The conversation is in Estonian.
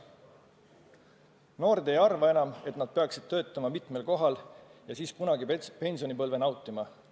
Noored ei arva enam, et nad peaksid töötama mitmel kohal, et kunagi pensionipõlve nautida.